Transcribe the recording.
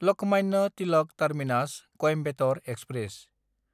Lokmanya Tilak टार्मिनास–कॊइम्बेटर express